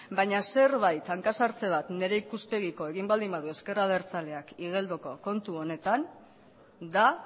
baina hanka sartze bat nire ikuspegitik egin baldin badu ezker abertzaleak igeldoko kontu honetan da